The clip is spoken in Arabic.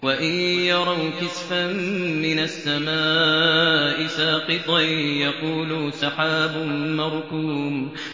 وَإِن يَرَوْا كِسْفًا مِّنَ السَّمَاءِ سَاقِطًا يَقُولُوا سَحَابٌ مَّرْكُومٌ